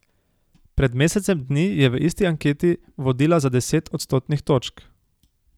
Pred mesecem dni je v isti anketi vodila za deset odstotnih točk.